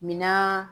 Minan